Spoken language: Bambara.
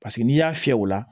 Paseke n'i y'a fiyɛ o la